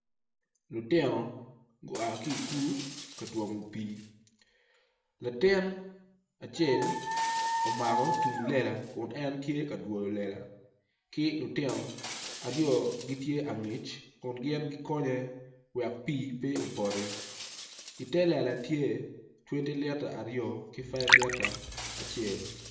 Lutino gua ki i kulu ka twomo pii latin acel omako tung lela kun tye ka dwoyo lela ki lutino aryo gitye angec kun gin gikonye wek pii pe opoti i telela tye twenti lita acel ki ten lita acel.